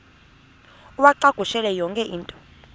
uwacakushele yonke into